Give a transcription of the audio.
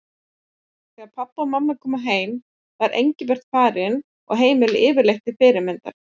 Þegar pabbi og mamma komu heim var Engilbert farinn og heimilið yfirleitt til fyrirmyndar.